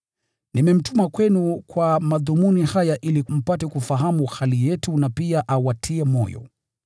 Nimemtuma kwenu kwa madhumuni haya ili mpate kufahamu hali yetu, na pia awatie moyo.